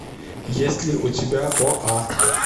есть ли у тебя оа